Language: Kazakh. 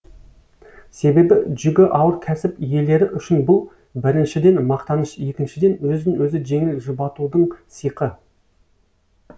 себебі жүгі ауыр кәсіп иелері үшін бұл біріншіден мақтаныш екіншіден өзін өзі жеңіл жұбатудың сиқы